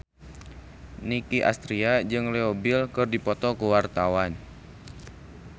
Nicky Astria jeung Leo Bill keur dipoto ku wartawan